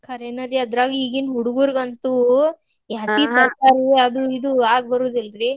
ಖರೇನರಿ ಅದ್ರಾಗ ಈಗಿನ ಹುಡುಗುರಂತೂ ಈ ಹಸಿ ಕಾಯಿಪಲ್ಲೆ ಅದು ಇದು ಆಗಿಬರುದಿಲ್ರಿ.